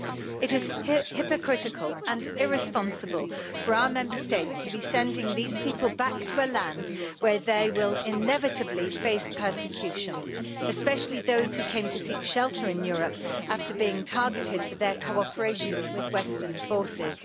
It is hypocritical and irresponsible for our Member States to be sending these people back to a land where they will inevitably face persecution, especially those who came to seek shelter in Europe after being targeted for their cooperation with Western forces.